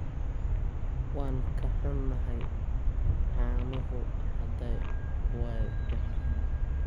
Waan ka xunnahay, caanuhu hadda waa baxeen.